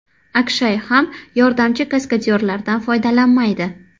Akshay ham yordamchi kaskadyorlardan foydalanmaydi.